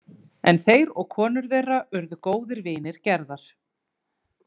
En þeir og konur þeirra urðu góðir vinir Gerðar.